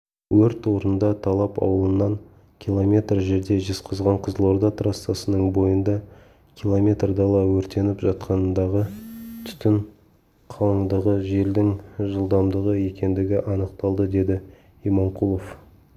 өрт орнында талап аулынан километр жерде жезқазған-қызылорда трассасының бойында км дала өртеніп жатқандығы түтін қалыңдығы желдің жылдамдығы екендігі анықталды деді иманқұлов